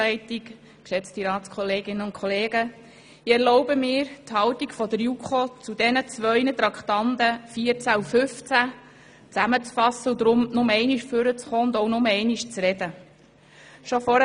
Ich erlaube mir die Haltung der JuKo zu den Traktanden 14 und 15 zusammenzufassen und mich demnach nur einmal gleich zu beiden Traktanden zu äussern.